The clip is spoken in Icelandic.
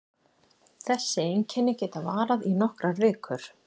Þessi einkenni geta varað í nokkrar vikur.